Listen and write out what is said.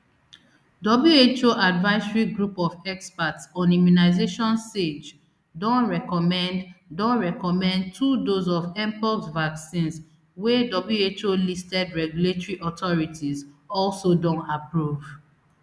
who advisory group of experts on immunisation sage don recommend don recommend two dose of mpox vaccines wey wholisted regulatory authorities also don approve